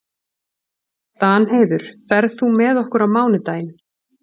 Danheiður, ferð þú með okkur á mánudaginn?